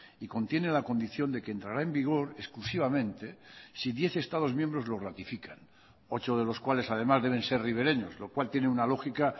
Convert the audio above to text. y contiene la condición de que entrará en vigor exclusivamente si diez estados miembros lo ratifican ocho de los cuales además deben ser ribereños lo cual tiene una lógica